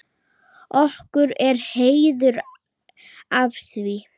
Okkur er heiður af því.